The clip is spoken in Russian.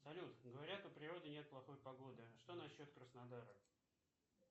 салют говорят у природы нет плохой погоды что на счет краснодара